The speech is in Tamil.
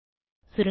சுருங்க சொல்ல